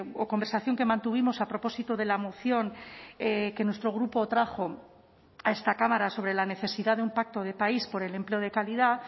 o conversación que mantuvimos a propósito de la moción que nuestro grupo trajo a esta cámara sobre la necesidad de un pacto de país por el empleo de calidad